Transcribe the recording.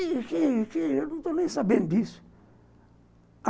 Eu não estou nem sabendo disso.